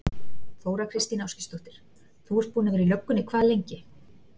Þóra Kristín Ásgeirsdóttir: Þú ert búinn að vera í löggunni hvað lengi?